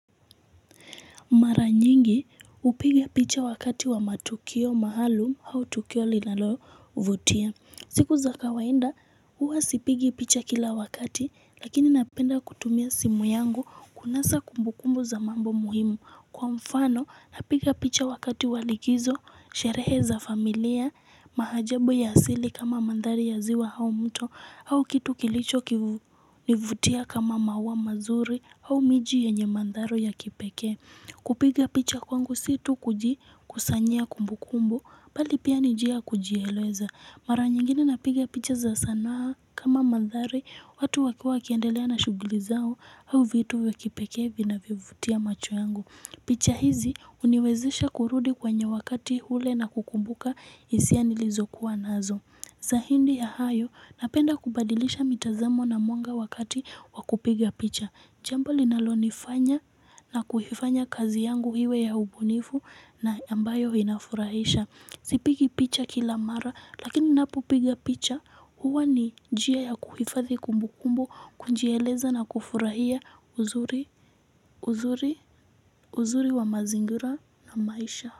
Mara nyingi upiga picha wakati wa matukio maalum au tukio linalo vutia. Siku za kawainda huwa sipigi picha kila wakati lakini napenda kutumia simu yangu kunasa kumbukumbu za mambo muhimu. Kwa mfano napiga picha wakati wa likizo, sherehe za familia, mahajabu ya asili kama mandhari ya ziwa hau mto au kitu kilicho kivutia kama maua mazuri au miji yenye mandhari ya kipekee. Kupiga picha kwangu situ kuji kusanyia kumbu kumbu, bali pia nijia kujiheleza. Mara nyingine napiga picha za sanaa kama madhari, watu wakiwa wakiendelea na shuguli zao au vitu vya pekee vi na vyovutia macho yangu. Picha hizi uniwezesha kurudi kwenye wakati ule na kukumbuka isia ni lizo kuwa nazo. Zahindi ya hayo napenda kubadilisha mitazamo na mwanga wakati wakupiga picha. Jambo linalonifanya na kuhifanya kazi yangu hiwe ya ubunifu na ambayo inafurahisha. Sipigi picha kila mara lakini ninapopiga picha huwa ni jia ya kuhifathi kumbukumbu kunjieleza na kufurahia uzuri wa mazingira na maisha.